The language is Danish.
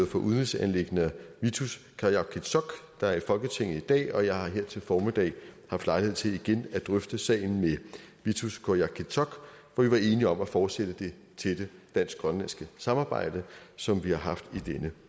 for udenrigsanliggender vittus qujaukitsoq der er i folketinget i dag og jeg har her til formiddag haft lejlighed til igen at drøfte sagen med vittus qujaukitsoq hvor vi var enige om at fortsætte det tætte dansk grønlandske samarbejde som vi har haft i denne